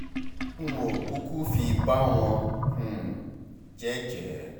n ò kúkú fi bà wọ́n um jẹ́ jẹ́